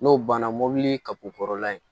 N'o banna mobili kapupkɔrɔla in